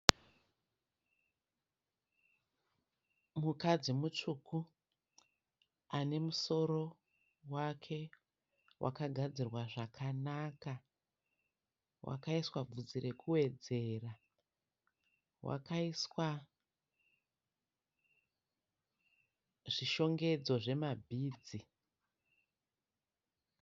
Mukadzi mutsvuku ane musoro wake wakagadzirwa zvakanaka. Wakaiswa vhudzi rekuwedzera. Wakaiswa zvishongedzo zvemabhidzi.